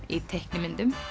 í teiknimyndum